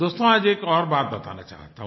दोस्तो आज एक और बात बताना चाहता हूँ